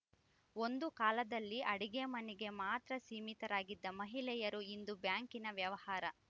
ಒಂದು ಕಾಲದಲ್ಲಿ ಅಡುಗೆ ಮನೆಗೆ ಮಾತ್ರ ಸೀಮಿತರಾಗಿದ್ದ ಮಹಿಳೆಯರು ಇಂದು ಬ್ಯಾಂಕಿನ ವ್ಯವಹಾರ